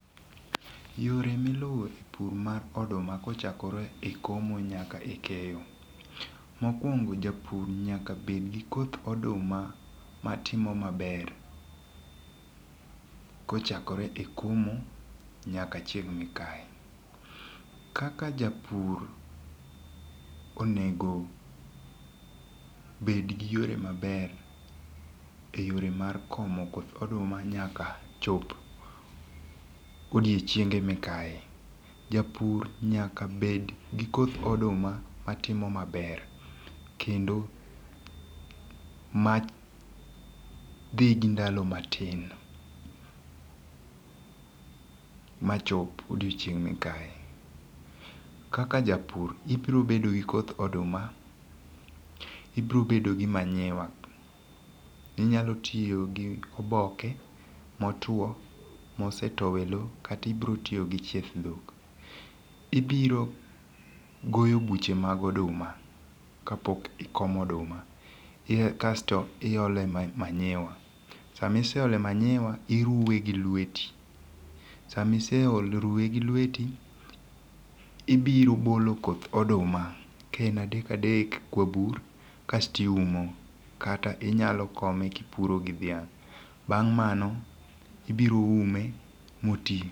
Yore miluwo e pur mar oduma kochakore e komo nyaka e keyo. Mokuongo japur nyaka bed gi koth oduma matimo maber kochakore e komo nyaka chieng' mikaye. Kaka japur onego bed gi yore maber e yore mar komo koth oduma nyaka chop odiochienge mikaye. Japur nyaka bed gi koth oduma matimo maber kendo madhi gi ndalo matin machop odiochieng' mikaye. Kaka japur ibiro bedo gi koth oduma, ibiro bedo gi manyiwa. Inyalo tiyo gi oboke motwo mosetow e lo kata ibiro tiyo gi cheth dhok. Ibiro goyo buche mag oduma ka pok ikomo oduma. Kasto iole manyiwa. Sami iseole manyiwa iruwe gi lweti. Sami iserume gi lweti, ibiro bolo koth oduma, kae en adak adek kwa bur kasti uomo kata inyalo kome kipuro gi dhiang'. Bang' mano, ibiro ume mo ti.